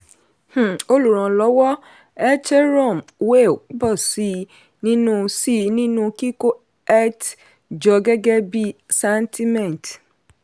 um olùrànlọ́wọ́ ethereum whale pọ̀ sí i nínú sí i nínú kíkó eth jọ gẹ́gẹ́ bí santiment